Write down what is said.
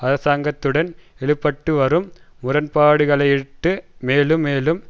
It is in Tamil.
அரசாங்கத்துடன் இழுபட்டுவரும் முரண்பாடுகளையிட்டு மேலும் மேலும்